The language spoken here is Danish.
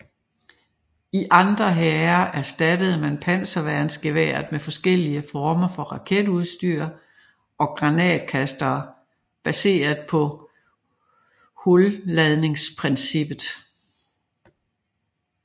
I andre hære erstattede man panserværnsgeværet med forskellige former for raketstyr og granatkastere baseret på hulladningsprincippet